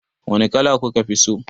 Wani kala kuka fi so?